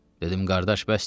Dedim: Qardaş, bəsdir.